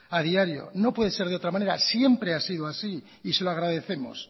a diario no puede ser de otra manera siempre ha sido así y se lo agradecemos